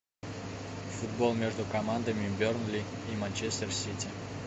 футбол между командами бернли и манчестер сити